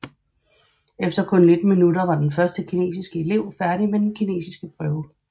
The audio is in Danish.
Efter kun 19 minutter var den første kinesiske elev færdig med den kinesiske prøve